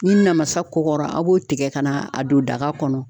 Ni namasa kɔkɔra b'o tigɛ ka na a don daga kɔnɔ.